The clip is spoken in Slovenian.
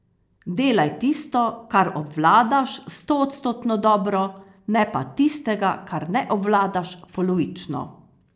Delaj tisto, kar obvladaš, stoodstotno dobro, ne pa tistega, kar ne obvladaš, polovično.